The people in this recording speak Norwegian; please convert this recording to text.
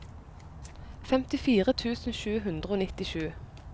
femtifire tusen sju hundre og nittisju